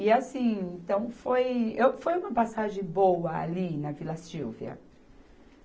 E, assim, então foi, eu foi uma passagem boa ali na Vila Sílvia.